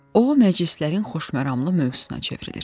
O məclislərin xoşməramlı mövzusuna çevrilir.